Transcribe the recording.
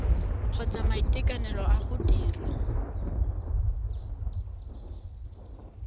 kgotsa maiteko a go dira